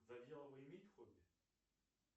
завьялова имеет хобби